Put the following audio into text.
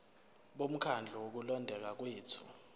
bomkhandlu wokulondeka kwethu